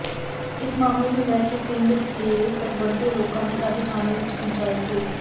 ਇਸ ਮਾਮਲੇ ਨੂੰ ਲੈ ਕੇ ਪਿੰਡ ਦੇ ਪਤਵੰਤੇ ਲੋਕਾਂ ਦੀ ਅੱਜ ਥਾਣੇ ਵਿਚ ਪੰਚਾਇਤ ਹੋਈ